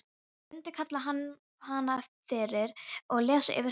Hann mundi kalla hana fyrir og lesa yfir henni.